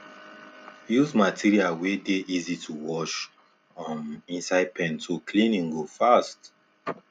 use material wey dey easy to wash um inside pen so cleaning go fast